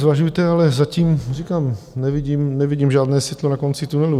Zvažujte, ale zatím říkám, nevidím žádné světlo na konci tunelu.